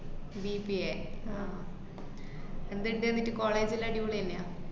BBA ആഹ് എന്ത് ഇന്ദ് എന്നിട് college ജെല്ലാ അടിപൊളി തന്നെയാ?